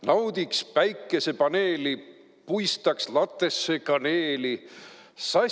Naudiks päikesepaneeli, puistaks latesse kaneeli!